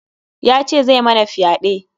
Ya ce zai mana fyaɗe.